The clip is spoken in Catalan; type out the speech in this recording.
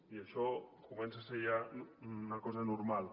i això comença a ser ja una cosa normal